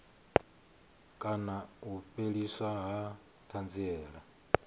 kana u fheliswa ha thanziela